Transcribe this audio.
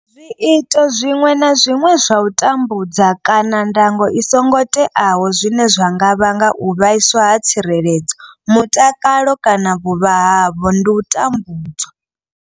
Zwiito zwiṅwe na zwiṅwe zwa u tambudza kana ndango i songo teaho zwine zwa nga vhanga u vhaiswa ha tsireledzo, mutakalo kana vhuvha havho ndi u tambudzwa.